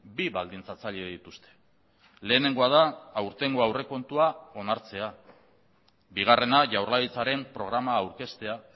bi baldintzatzaile dituzte lehenengoa da aurtengo aurrekontua onartzea bigarrena jaurlaritzaren programa aurkeztea